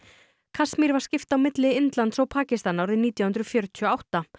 Kasmír var skipt á milli Indlands og Pakistans árið nítján hundruð fjörutíu og átta